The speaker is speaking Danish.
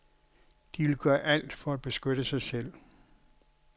De vil gøre alt for at beskytte sig selv.